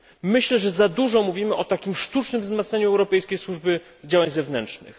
Myślę, że za dużo mówimy o takim sztucznym wzmacnianiu Europejskiej Służby Działań Zewnętrznych.